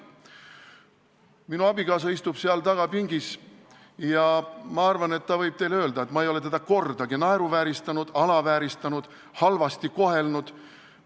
Minu abikaasa istub seal taga pingis ja ma arvan, et ta võib teile öelda, et ma ei ole teda kordagi naeruvääristanud, alavääristanud, halvasti kohelnud.